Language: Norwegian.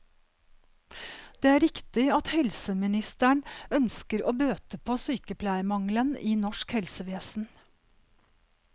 Det er riktig at helseministeren ønsker å bøte på sykepleiermangelen i norsk helsevesen.